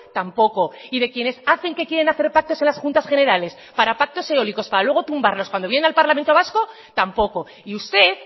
tampoco y de quienes hacen que quieren hacer pactos en las juntas generales para pactos eólicos para luego tumbarlos cuando viene al parlamento vasco tampoco y usted